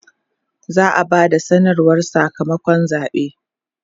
za'a Bada sanarwar Saka makon zaɓe